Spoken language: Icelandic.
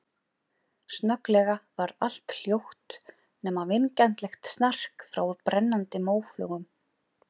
Snögglega varð allt hljótt, nema vingjarnlegt snark frá brennandi móflögum.